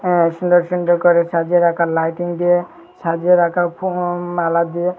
আর সুন্ডর সুন্ডর করে সাজিয়ে রাকা লাইটিং দিয়ে সাজিয়ে রাকা ফুল মালা দিয়ে।